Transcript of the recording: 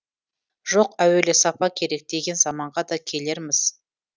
жоқ әуелі сапа керек деген заманға да келерміз